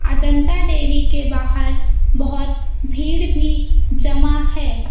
Ajanta dairy के बाहर बहोत भीड़ भी जमा है।